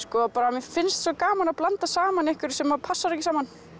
mér finnst svo gaman að blanda saman einhverju sem passar ekki saman